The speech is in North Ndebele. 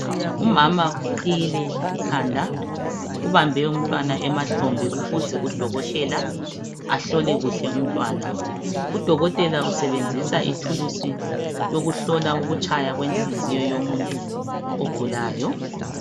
Umama uqhiyile ikhanda ubambe umntwana emahlombe ukuze udokotela ahlole kuhle umntwana. Udokotela usebenzisa ithulusi yokuhlola ukutshaywa kwenhliziyo yomuntu ogulayo.